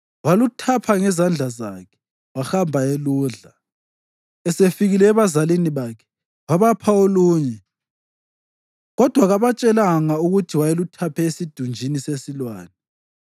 waluthapha ngezandla zakhe, wahamba eludla. Esefike ebazalini bakhe, wabapha olunye kodwa kabatshelanga ukuthi wayeluthaphe esidunjini sesilwane.